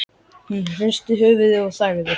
Hún hristi höfuðið og þagði.